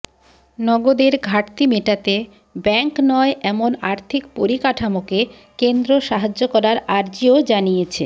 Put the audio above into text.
নগদের ঘাটতি মেটাতে ব্যাঙ্ক নয় এমন আর্থিক পরিকাঠামোকে কেন্দ্র সাহায্য করার আর্জিও জানিয়েছে